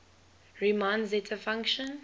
riemann zeta function